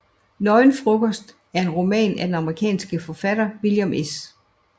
Nøgen Frokost er en roman af den amerikanske forfatter William S